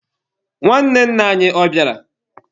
Nwanne nna anyi, ọ bịara?